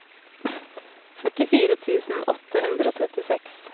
førtifire tusen åtte hundre og trettiseks